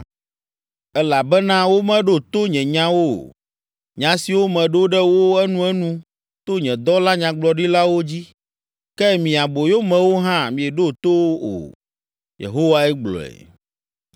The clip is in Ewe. Elabena womeɖo to nye nyawo o, nya siwo meɖo ɖe wo enuenu to nye dɔla nyagblɔɖilawo dzi. Ke mi aboyomewo hã mieɖo to o,” Yehowae gblɔe.